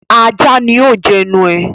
Ajá ni ó jẹnu ẹ